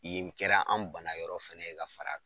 Yen kɛra an bana yɔrɔ fɛnɛ ye k'a far'a